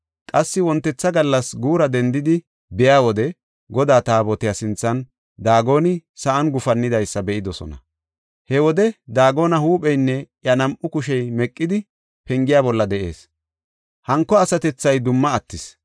Qassi wontetha gallas guura dendidi be7iya wode Godaa Taabotiya sinthan Daagoni sa7an gufannidaysa be7idosona. He wode Daagone huupheynne iya nam7u kushey meqidi pengiya bolla de7ees; hanko asatethay dumma attis.